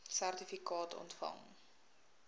sertifikaat ontvang